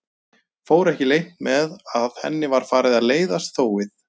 Fór ekki leynt með að henni var farið að leiðast þófið.